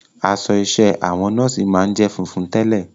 Aṣọ iṣẹ́ àwọn nọ́ọ̀sì máa ń jẹ́ funfun tẹ́lẹ̀.